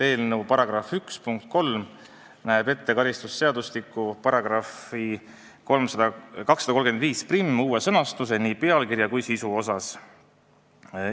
Eelnõu § 1 punkt 4 näeb ette karistusseadustiku § 2351 uue sõnastuse nii pealkirjas kui sisus.